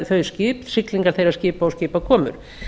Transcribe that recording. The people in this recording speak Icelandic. þau skip siglingar þeirra skipa og skipakomur